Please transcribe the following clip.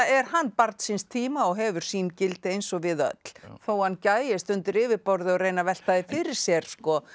er hann barn síns tíma og hefur sín gildi eins og við öll þó hann gægist undir yfirborðið og reyni að velta því fyrir sér